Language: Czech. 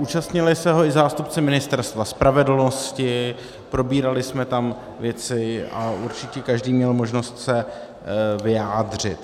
Účastnili se ho i zástupci Ministerstva spravedlnosti, probírali jsme tam věci a určitě každý měl možnost se vyjádřit.